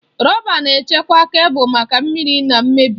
Rọba na-echekwa kebụl maka mmiri na mmebi.